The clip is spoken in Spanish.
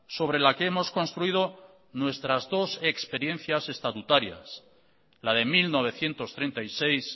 sobre la que hemos construido nuestras dos experiencias estatutarias la de mil novecientos treinta y seis